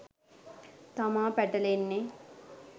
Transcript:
තමා පැටලෙන්නේ